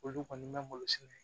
Olu kɔni bɛ malo sɛnɛ